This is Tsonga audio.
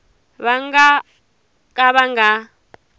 va nga ka va nga